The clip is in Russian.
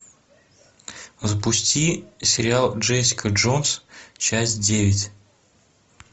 запусти сериал джессика джонс часть девять